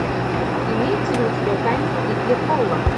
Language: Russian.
имеется ли у тебя тайна крикли холла